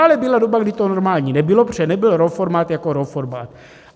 Ale byla doba, kdy to normální nebylo, protože nebyl RAW formát jako RAW formát.